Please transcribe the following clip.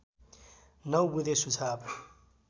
९ बुँदे सुझाव